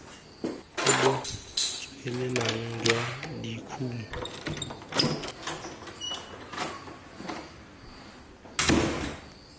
bo bo tswelelang jwa dikumo